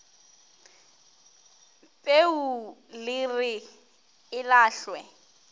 peu le re e lahlwe